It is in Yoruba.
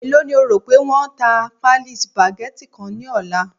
e lo ni o rope won ta pálí spaghetti ni ọlá